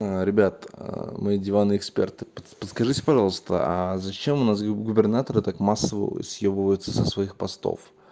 ребят мои диванные эксперты подскажите пожалуйста а зачем у нас губернаторы так массово съёбываться со своих постов